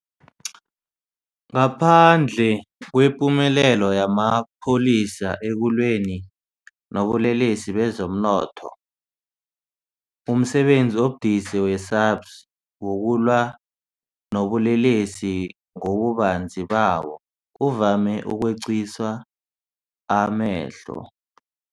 Ngaphandle kwepumelelo yamapholisa ekulweni nobulelesi bezomnotho, umsebenzi obudisi we-SAPS wokulwa nobulelesi ngobubanzi bawo uvame ukweqiswa amehlo.